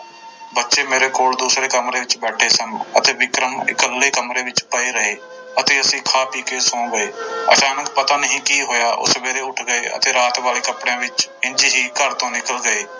ਬੱਚੇ ਮੇਰੇ ਕੋਲ ਦੂਸਰੇ ਕਮਰੇ ਵਿੱਚ ਬੈਠੇ ਸਨ ਅਤੇ ਵਿਕਰਮ ਨੂੰ ਇਕੱਲੇ ਕਮਰੇ ਵਿੱਚ ਪਏ ਰਹੇ ਅਤੇ ਅਸੀਂ ਖਾ ਪੀ ਕੇ ਸੌਂ ਗਏ ਅਚਾਨਕ ਪਤਾ ਨੀ ਕੀ ਹੋਇਆ, ਉਹ ਸਵੇਰੇ ਉੱਠ ਗਏ ਅਤੇ ਰਾਤ ਵਾਲੇ ਕੱਪੜਿਆਂ ਵਿੱਚ ਇੰਞ ਹੀ ਘਰ ਤੋਂ ਨਿਕਲ ਗਏ।